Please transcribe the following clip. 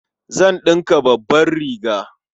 Zan ɗinka babbar riga.